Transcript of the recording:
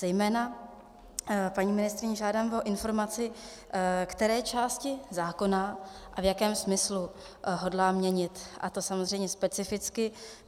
Zejména, paní ministryně, žádám o informaci, které části zákona a v jakém smyslu hodlá měnit, a to samozřejmě specificky.